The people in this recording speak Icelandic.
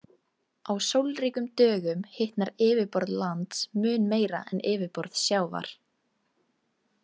Á sólríkum dögum hitnar yfirborð lands mun meira en yfirborð sjávar.